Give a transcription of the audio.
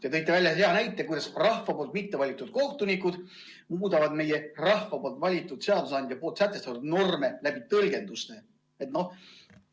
Te tõite hea näite, kuidas rahva poolt mitte valitud kohtunikud muudavad meie rahva valitud seadusandja sätestatud norme tõlgenduse kaudu.